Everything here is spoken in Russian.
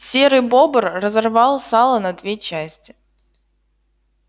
серый бобр разорвал сало на две части